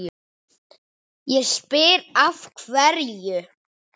Ég spyr, af hverju?